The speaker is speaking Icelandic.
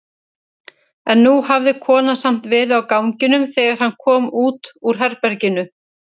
En nú hafði konan samt verið á ganginum þegar hann kom út úr herberginu.